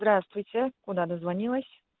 здравствуйте куда дозвонилась